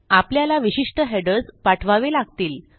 आपल्याला विशिष्ट हेडर्स पाठवावे लागतील